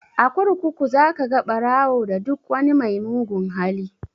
A kurkuku za ka ga ɓarawo da duk wani mai mugun hali